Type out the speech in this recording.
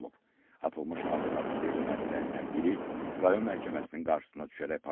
Atılmış ağır artilleriya mərmilərindən biri rayon məhkəməsinin qarşısına düşərək partlayıb.